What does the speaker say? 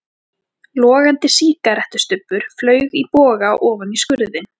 Logandi sígarettustubbur flaug í boga ofan í skurðinn.